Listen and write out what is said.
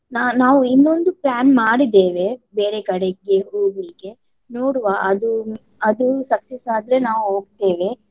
ನಾ~ ನಾವು ಇನ್ನೊಂದು plan ಮಾಡಿದ್ದೇವೆ ಬೇರೆ ಕಡೆಗೆ ಹೋಗ್ಲಿಕ್ಕೆ. ನೋಡುವ ಅದು ಅದು success ಆದ್ರೆ ನಾವು ಹೋಗ್ತೇವೆ.